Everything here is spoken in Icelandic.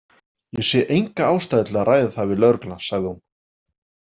Ég sé enga ástæðu til að ræða það við lögregluna, sagði hún.